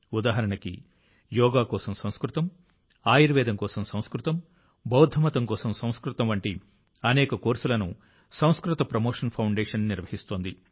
ఉదాహరణకు యోగా కోసం సంస్కృతం ఆయుర్వేదం కోసం సంస్కృతం బౌద్ధమతం కోసం సంస్కృతం వంటి అనేక కోర్సులను సంస్కృత ప్రమోషన్ ఫౌండేషన్ నిర్వహిస్తోంది